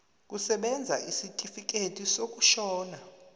kusebenza isitifikedi sokushona